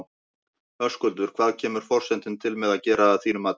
Höskuldur, hvað kemur forsetinn til með að gera að þínu mati?